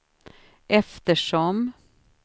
eftersom